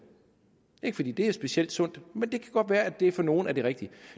er ikke fordi det er specielt sundt men det kan godt være at det for nogle er det rigtige og